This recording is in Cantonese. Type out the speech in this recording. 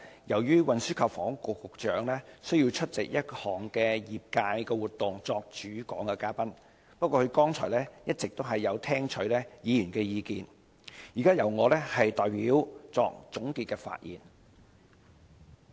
由於運輸及房屋局局長需要出席一項業界活動作主講嘉賓，現在由我代作總結發言，不過他剛才一直有聆聽議員的意見。